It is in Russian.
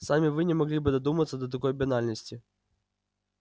сами вы не могли бы додуматься до такой банальности